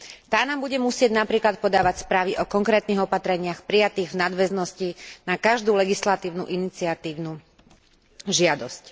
Tá nám bude musieť napríklad podávať správy o konkrétnych opatreniach prijatých v nadväznosti na každú legislatívnu iniciatívnu žiadosť.